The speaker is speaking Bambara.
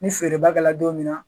Ni feereba kɛlɛ don min na.